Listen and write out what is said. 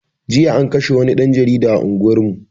Jiya an kashe wani ɗan jarida a unguwar mu